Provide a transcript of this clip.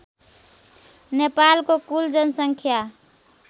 नेपालको कुल जनसङ्ख्या